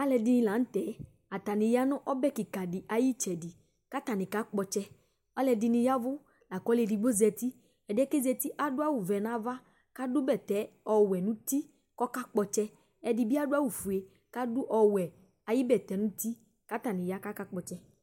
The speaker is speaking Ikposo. Aludini laŋtɛ , atani ya nʋ ɔbɛ kika di ayiʋ itsɛdiKatani kakpɔ ɔtsɛƆlɔdini yavʋ , lakʋ ɔlu edigbo zatiƐdiɛ ku ozati yɛ adʋ awu vɛ nʋ avaAdʋ bɛtɛ ɔwɛ nuti kɔkakpɔ ɔtsɛ Ɛdibi adu awu fue, kadʋ ɔwɛ ayiʋ bɛtɛ nuti Katani ya, kakakpɔtsɛ